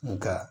Nga